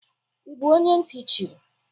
Ị bụ onye ntị chiri?